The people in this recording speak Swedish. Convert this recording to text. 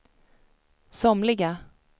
somliga